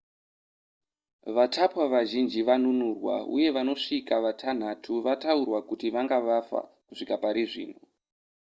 vatapwa vazhinji vanunurwa uye vanosvika vatanhatu vataurwa kuti vanga vafa kusvika parizvino